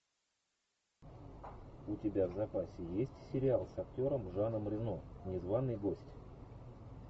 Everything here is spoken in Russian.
у тебя в запасе есть сериал с актером жаном рено незваный гость